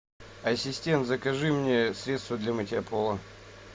ассистент закажи мне средство для мытья пола